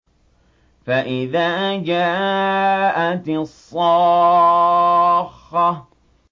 فَإِذَا جَاءَتِ الصَّاخَّةُ